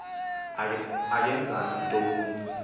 akenzanga nto kuni